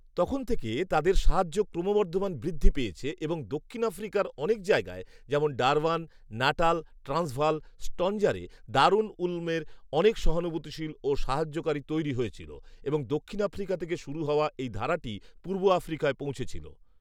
তখন থেকে তাদের সাহায্য ক্রমবর্ধমান বৃদ্ধি পেয়েছে এবং দক্ষিণ আফ্রিকার অনেক জায়গায় যেমন ডারবান, নাটাল, ট্রান্সভাল, স্টঞ্জারে দারুল উলুমের অনেক সহানুভূতিশীল ও সাহায্যকারী তৈরি হয়েছিল এবং দক্ষিণ আফ্রিকা থেকে শুরু হওয়া এই ধারাটি পূর্ব আফ্রিকায় পৌঁছেছিল